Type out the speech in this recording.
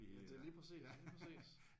Ja det er lige pæcis lige præcis